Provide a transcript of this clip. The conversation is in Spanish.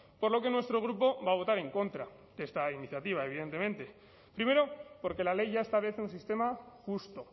por lo que nuestro grupo va a votar en contra de esta iniciativa evidentemente primero porque la ley ya establece un sistema justo